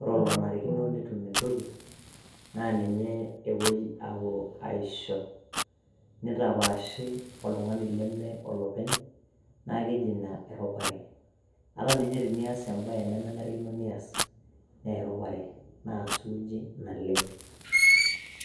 ore olonarikino netum entoki naa ninye epuoi aisho. nitapaashi oltungani leme olopeny. naa keji ina erupare. ata ninye tenias ebae nemenarikino nias. naa erupare naa suuji naleng.